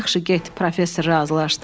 Yaxşı get, professor razılaşdı.